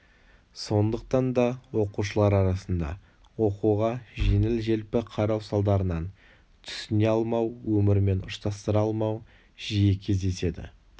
сондықтан да оқушылар арасында оқуға жеңіл-желпі қарау салдарынан түсіне алмау өмірмен ұштастыра алмау жиі кездеседі